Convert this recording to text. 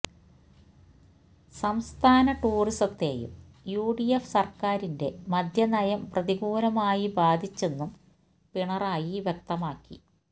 സംസ്ഥാന ടൂറിസത്തേയും U D F സര്ക്കാരിന്റെ മദ്യ നയം പ്രതികൂലമായി ബാധിച്ചെന്നും പിണറായി വ്യക്തമാക്കി